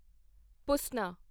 ਪੁਸਨਾ